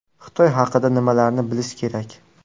Xitoy haqida nimalarni bilish kerak?